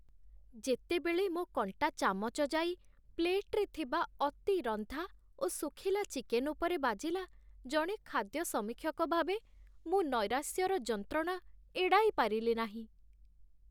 ଯେତେବେଳେ ମୋ' କଣ୍ଟା ଚାମଚ ଯାଇ ପ୍ଲେଟରେ ଥିବା ଅତିରନ୍ଧା ଓ ଶୁଖିଲା ଚିକେନ୍ ଉପରେ ବାଜିଲା, ଜଣେ ଖାଦ୍ୟ ସମୀକ୍ଷକ ଭାବେ, ମୁଁ ନୈରାଶ୍ୟର ଯନ୍ତ୍ରଣା ଏଡ଼ାଇପାରିଲି ନାହିଁ।